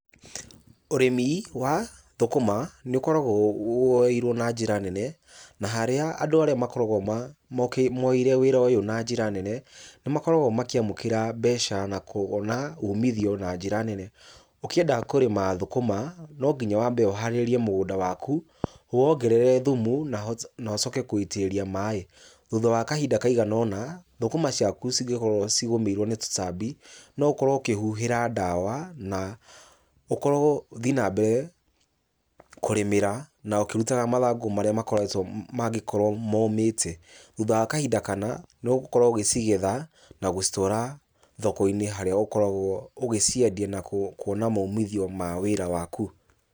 Ũrĩmi wa thũkũma nĩũkoragwo woeirwo na njĩra nene, na harĩa andũ arĩa makoragwo moeire wĩra ũyũ na njĩra nene, nĩmakoragwo makĩamũkĩra mbeca na kuona umithio na njĩra nene. Ũkĩenda kũrĩma thũkũma no nginya wambe ũharĩrĩrie mũgũnda waku, ũwongerere thumu, na na ũcoke kũwĩitĩrĩria maĩ. Thutha wa kahinda kaigana ũna, thũkũma ciaku cingĩkorwo cigũmĩirwo nĩ tũtambi, no ũkorwo ũkĩhuhĩra ndawa na ũkorwo ũthiĩ na mbere kũrĩmĩra na ũkĩrutaga mathangũ marĩa makoretwo mangĩkorwo momĩte. Thutha wa kahinda kana, nĩũgũkorwo ũgĩcigetha, na gũcitwara thoko-inĩ harĩa ũkoragwo ũgĩciendia na kuona maumithio ma wĩra waku.